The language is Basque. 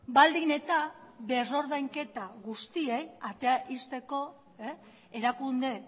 baldin eta berrordainketa guztiei atea ixteko erakunde